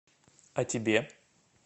а тебе